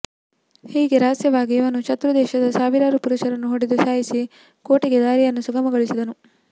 ಹೀಗೆ ರಹಸ್ಯವಾಗಿ ಇವನು ಶತ್ರು ದೇಶದ ಸಾವಿರಾರು ಪುರುಷರನ್ನು ಹೊಡೆದು ಸಾಯಿಸಿ ಕೋಟೆಗೆ ದಾರಿಯನ್ನು ಸುಗಮ ಗೊಳಿಸಿದನು